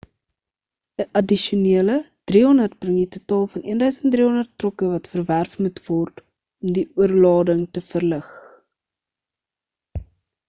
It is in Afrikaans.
'n addisionele 300 bring die totaal tot 1 300 trokke wat verwerf moet word om die oorlading te verlig